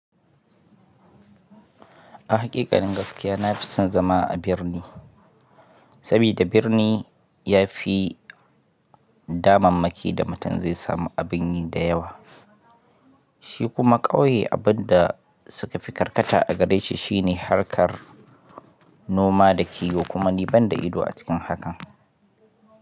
A haƙiƙanin gaskiya na fi son zama a birni, sabida birni ya fi damammaki da mutum zai samu abin yi da yawa. Shi kuma ƙauye abin da suka fi karkata a gareshi shine harkar noma da kiwo, kuma ni ban da ido a cikin hakan.